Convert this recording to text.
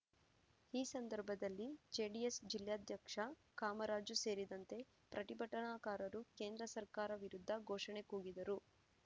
ಈ ಸಂದರ್ಭದಲ್ಲಿ ಜೆಡಿಎಸ್‌ ಜಿಲ್ಲಾಧ್ಯಕ್ಷ ಕಾಮರಾಜು ಸೇರಿದಂತೆ ಪ್ರತಿಭಟನಾಕಾರರು ಕೇಂದ್ರ ಸರ್ಕಾರ ವಿರುದ್ಧ ಘೋಷಣೆ ಕೂಗಿದರು